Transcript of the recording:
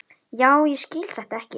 Já, ég skil þetta ekki.